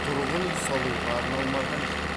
тұрғын үй салуға арналмаған жер